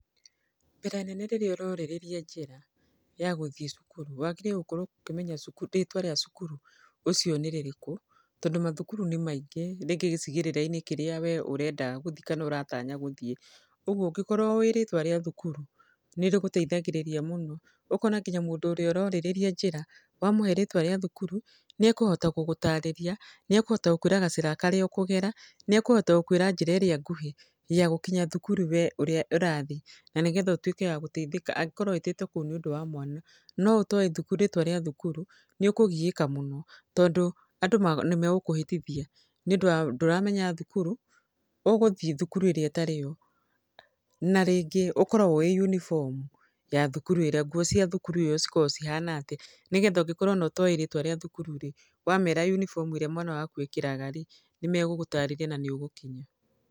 Mbere nene rĩrĩa ũrorĩrĩria njĩra ya gũthiĩ cukuru, wagĩrĩire gũkorwo ũkĩmenya rĩtwa rĩa cukuru ũcio nĩ rĩrĩkũ, tondũ macukuru nĩ maingĩ rĩngĩ gĩcigĩrĩra-inĩ kĩrĩa wee ũrenda gũthiĩ kana ũratanya gũthiĩ. Ũguo ũngĩkorwo ũwĩ rĩtwa rĩa thukuru nĩ rĩgũteithagĩrĩria mũno, ũkona nginya mũndũ ũrĩa ũrorĩrĩria njĩra, wamũhe rĩtwa rĩa thukuru, nĩekũhota gũgũtarĩria, nĩekũhota gũkwĩra gacĩra karĩa ũkũgera, nĩ ekũhota gũkwĩra njĩra ĩrĩa nguhĩ ya gũkinya thukuru wee ũrathi na nĩgetha ũtwĩke wa gũteithĩka angĩkorwo wĩtĩtwo kũu nĩ ũndũ wa mwana. No ũtowĩ rĩtwa rĩa thukuru nĩ ũkũgiĩka mũno tondũ andũ nĩmegũkũhĩtithia nĩũndũ ndũramenya thukuru, ũgũthi thukuru ĩrĩa ĩtarĩ yo na rĩngĩ ũkorwo ũĩ yunibomu ya thukuru ĩrĩa, nguo cia thukuru ĩo cikoragwo cihana atĩa nĩgetha ona ũngĩkorwo ũtoĩ rĩtwa rĩa thukuru-rĩ, wamera ũnibomu ĩrĩa mwana waku ekĩraga-rĩ, nĩ megũgũtarĩria na nĩ ũgũkinya.